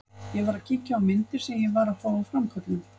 Ég var að kíkja á myndir sem ég var að fá úr framköllun.